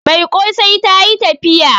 Mai kosai ta yi tafiya